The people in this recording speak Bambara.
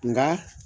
Nka